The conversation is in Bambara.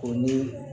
O ni